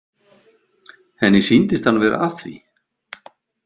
Henni sýndist hann vera að því.